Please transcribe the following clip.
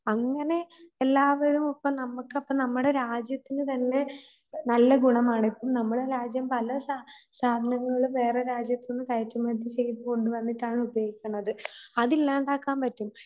അങ്ങനെ എല്ലാവരു ഇപ്പം നമുക്കപ്പം നമ്മുടെ രാജ്യത്തിനുതന്നെ നല്ല ഗുണമാണ്. ഇപ്പം നമ്മുടെ രാജ്യം പലസാ സാധനങ്ങളും വേറെരാജ്യത്തൂന്ന് കയറ്റുമതി ചെയ്തു കൊണ്ടുവന്നിട്ടാണ് ഉപയോഗിക്കണത്. അതില്ലാണ്ടാക്കാൻ പറ്റും